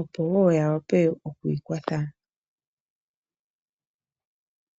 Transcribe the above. opo wo ya wape oku ikwatha